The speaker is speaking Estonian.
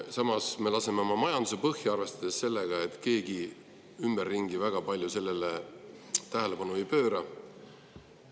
Samas me laseme oma majanduse põhja nii, et keegi ümberringi sellele väga palju tähelepanu ei pööra.